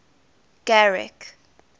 garrick